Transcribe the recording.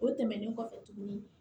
O tɛmɛnen kɔfɛ tuguni